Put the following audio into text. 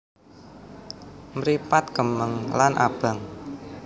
Mripat kemeng lan abang